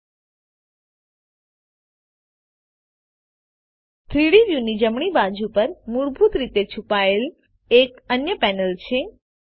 3ડી વ્યુની જમણી બાજુ પર મૂળભૂત રીતે છુપાયેલ એક અન્ય પેનલ છે